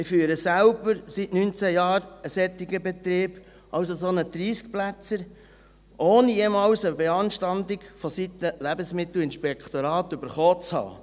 Ich führe selber seit neunzehn Jahren einen solchen Betrieb, also einen solchen 30-Plätzer, ohne jemals eine Beanstandung seitens des Lebensmittelinspektorat erhalten zu haben.